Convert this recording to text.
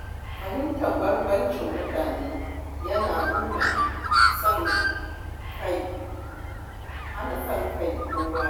Fahimtar bambancin mutane yana nuna son kai. hana son kai ko wari...